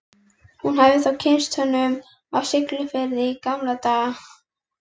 Hún hafði þá kynnst honum á Siglufirði í gamla daga.